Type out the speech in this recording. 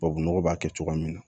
Tubabu nɔgɔ b'a kɛ cogoya min na